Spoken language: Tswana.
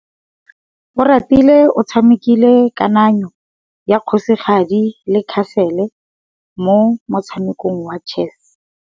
Oratile o tshamekile kananyô ya kgosigadi le khasêlê mo motshamekong wa chess.